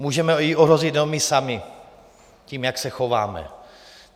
Můžeme ji ohrozit jenom my sami tím, jak se chováme.